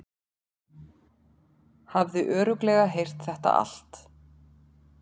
Hafði örugglega heyrt þetta allt.